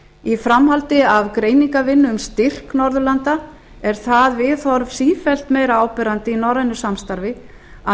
í framhaldi af greiningarvinnu um styrk norðurlanda er það viðhorf sífellt meira áberandi í norrænu samstarfi að